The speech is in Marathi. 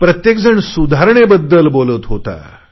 प्रत्येकजण सुधारणेबद्दल बोलत होता